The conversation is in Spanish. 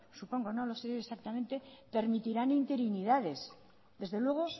supongo no lo sé exactamente permitirán interinidades desde luego